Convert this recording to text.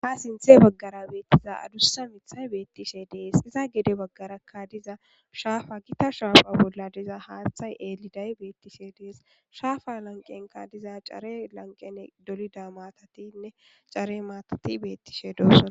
Ha sintta baggara beettiza adussa miittay beettishe dees. geede baggarakka diza shaafa gita shaafa bolla diza haaththay eeliday beettishe dees. Shaafa lanqenkka diza care lanqene dolida maatatinne care maatati beettishe doosona.